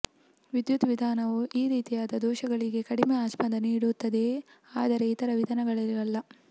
ವಿದ್ಯುತ್ ವಿಧಾನವು ಈ ರೀತಿಯಾದ ದೋಷಗಳಿಗೆ ಕಡಿಮೆ ಆಸ್ಪದ ನೀಡುತ್ತದೆ ಆದರೆ ಇತರ ವಿಧಾನಗಳಿಗಲ್ಲ